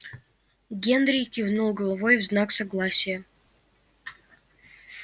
генри кивнул головой в знак согласия